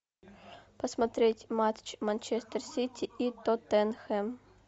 посмотреть матч манчестер сити и тоттенхэм